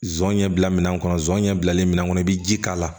Zonɲɛ bila minɛ kɔnɔ zon ɲɛ bilalen min kɔnɔ i bi ji k'a la